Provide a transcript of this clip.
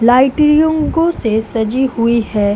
Lighting से सजी हुई है।